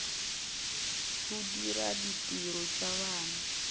go dira ditiro tša bana